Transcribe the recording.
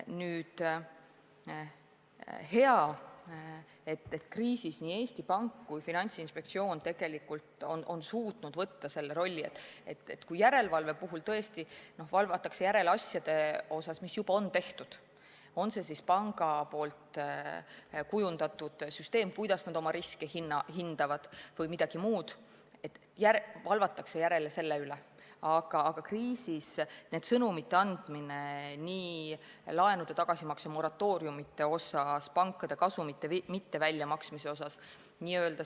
On hea, et kriisiajal nii Eesti Pank kui ka Finantsinspektsioon on suutnud valida selle suuna, et kui järelevalve puhul tõesti valvatakse asjade üle, mis juba on tehtud – on see siis panga kujundatud süsteem, kuidas nad oma riske hindavad või midagi muud –, aga kriisiajal on antud sõnumeid laenude tagasimakse moratooriumide kohta ja pankade kasumite mitteväljamaksmise kohta.